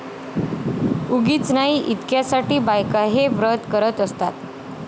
उगीच नाही इतक्या साठी बायका हे व्रत करत असतात